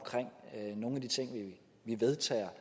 nogle af de ting vi vedtager